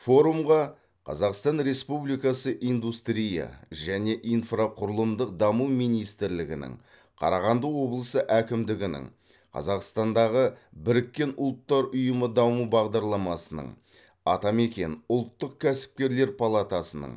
форумға қазақстан республикасы индустрия және инфрақұрылымдық даму министрлігінің қарағанды облысы әкімдігінің қазақстандағы біріккен ұлттар ұйымы даму бағдарламасының атамекен ұлттық кәсіпкерлер палатасының